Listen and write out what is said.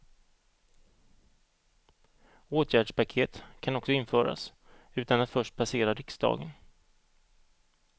Åtgärdspaket kan också införas utan att först passera riksdagen.